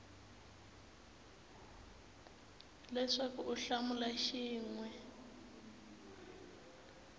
leswaku u hlamula xin we